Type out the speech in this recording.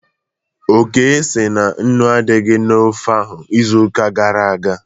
Oke sị na nnu adịghị na ofe ahụ izuụka gara aga